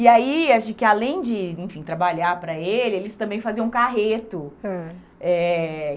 E aí, acho que além de, enfim, trabalhar para ele, eles também faziam carreto. Ãh. Eh